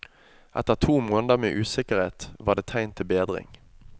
Etter to måneder med usikkerhet, var det tegn til bedring.